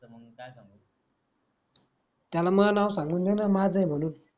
त्याला म नाव सांगून देन माझ आहे म्हनून